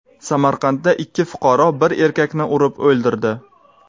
Samarqandda ikki fuqaro bir erkakni urib o‘ldirdi.